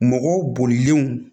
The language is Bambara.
Mɔgɔw bolilenw